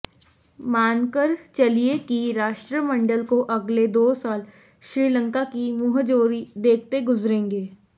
मानकर चलिये कि राष्ट्रमंडल को अगले दो साल श्रीलंका की मुंहजोरी देखते गुज़रेंगे